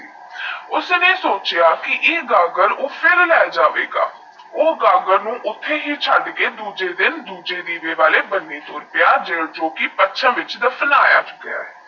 ਮੈ ਸੋਚਿਆ ਇਹ ਗਾਗਰ ਫੇਰ ਲੇ ਜਾਵੇਗਾ ਊ ਗਾਗਰ ਨੂੰ ਉਥੇ ਹੀ ਛੱਡ ਕੇ ਦੁੱਜੇ ਦਿਨ ਦੁੱਜੇ ਦਿਵੇ ਵਾਲੇ ਬੰਨੇ ਤੋੜ ਪਿਆ ਜੇਹਰਾ ਪਥਰਾ ਵਿੱਚ ਦਫਨਾਇਆ ਗਿਆ